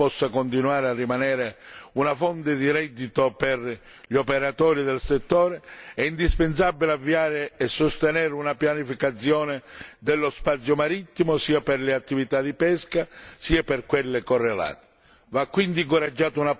Affinché l'attività della pesca possa continuare a rimanere una fonte di reddito per gli operatori del settore, è indispensabile avviare e sostenere una pianificazione dello spazio marittimo sia per le attività di pesca sia per quelle correlate.